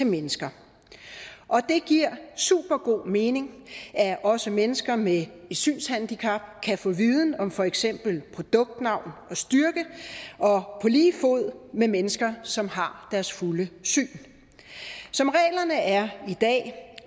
mennesker og det giver supergod mening at også mennesker med et synshandicap kan få viden om for eksempel produktnavnet og styrken på lige fod med mennesker som har deres fulde syn som reglerne er i dag